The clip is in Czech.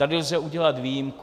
Tady lze udělat výjimku.